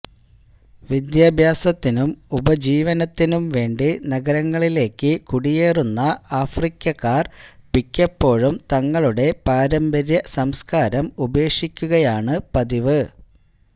വിദ്യാഭ്യാസത്തിനും ഉപജീവനത്തിനും വേണ്ടി നഗരങ്ങളിലേക്കു കുടിയേറുന്ന ആഫ്രിക്കക്കാർ മിക്കപ്പോഴും തങ്ങളുടെ പാരമ്പര്യ സംസ്കാരം ഉപേക്ഷിക്കുകയാണു പതിവ്